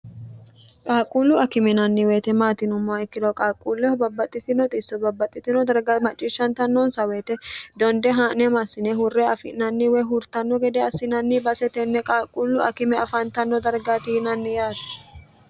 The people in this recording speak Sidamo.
qaalquullu akime yinanni weyite maati yinummoha ikkiro qaaqquulleho babbaxxitino xisso babbaxxitino darga macciishshantannoonsa woyite donde haa'ne massine hurre afi'nanni woy hurtanno gede assinanni base tenne qaalquullu akime afaantanno dargaati yinnanni yaate.